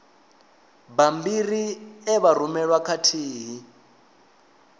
bammbiri e vha rumelwa khathihi